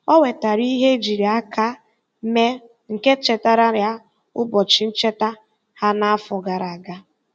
Ọ wetaara ihe ejiri aka mee nke chetaara ya ụbọchị ncheta ha na-afọ gara aga.